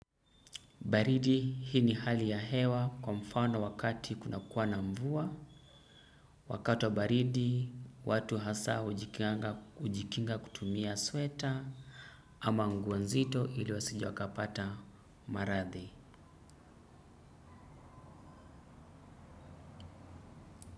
Baridi, hii ni hali ya hewa kwa mfano wakati kuna kuwa na mvua. Wakati wa baridi, watu hasa hujikinga kutumia sweta ama nguo nzito ili wasije wakapata maradhi.